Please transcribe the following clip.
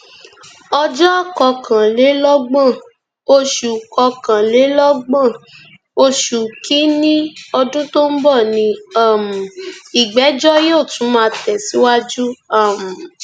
ọjọ kọkànlélọgbọn oṣù kọkànlélọgbọn oṣù kínínní ọdún tó ń bọ ní um ìgbẹjọ yóò tún máa tẹsíwájú um